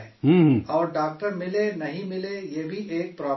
اور ڈاکٹر ملے، نہیں ملے یہ بھی ایک پرابلم ہے